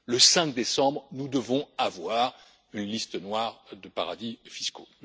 Le 5 décembre, nous devons avoir une liste noire de paradis fiscaux.